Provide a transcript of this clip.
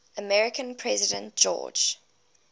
american president george